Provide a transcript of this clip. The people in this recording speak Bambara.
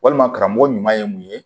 Walima karamɔgɔ ɲuman ye mun ye